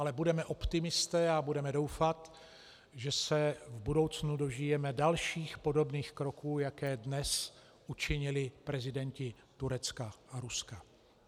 Ale budeme optimisté a budeme doufat, že se v budoucnu dožijeme dalších podobných kroků, jaké dnes učinili prezidenti Turecka a Ruska.